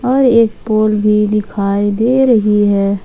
और एक फूल भी दिखाई दे रही है।